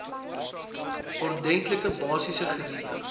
ordentlike basiese geriewe